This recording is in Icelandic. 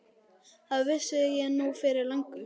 Það vissi ég nú fyrir löngu.